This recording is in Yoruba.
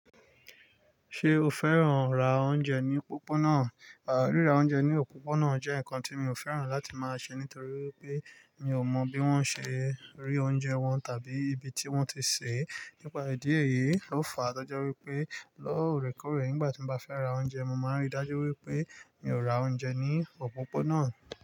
Ṣé o fẹ́ràn ra oúnjẹ ní òpópónà? Ríra oúnjẹ ní òpópónà jẹ́ nǹkan tí mi ò fẹ́ràn láti máa ṣe nítorí pé mi ò mọ bí wọ́n ṣe rí oúnjẹ wọn tàbí ibi tí wọ́n ti sè é. Nípa ìdí èyí, ó fa to jẹ wípé lóòrèkóòrè nígbà tí mo bá fẹ́ ra oúnjẹ, mo ma n ri dájú wípé mi ò ra oúnjẹ ní òpópónà.